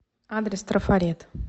адрес трафарет